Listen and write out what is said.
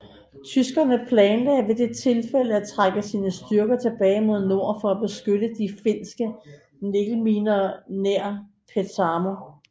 Tyskerne planlagde ved det tilfælde at trække sine styrker tilbage mod nord for at beskytte de finske nikkelminer nær Petsamo